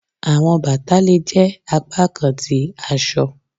Awọn bata le jẹ apakan ti aṣọ.